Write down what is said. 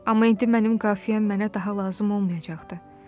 Amma indi mənim qafiyəm mənə daha lazım olmayacaqdı.